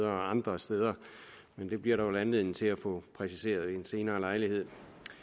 andre steder men det bliver der vel anledning til at få præciseret ved en senere lejlighed